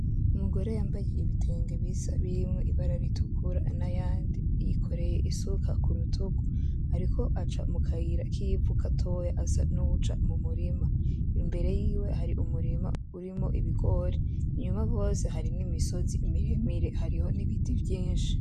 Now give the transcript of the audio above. Umugore yambaye ibitenge bisa birimwo ibara ritukura nayandi. Yikoreye isuka kurutugu ariko aca mukayira kivu gatoya asa nuwuja mumurima .Imbere yiwe hariho umurima urimwo ibigori , inyuma gose hariho imisozi miremire hariho nibiti vyinshi.